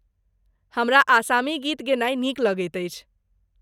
हमरा असामी गीत गेनाइ नीक लगैत अछि।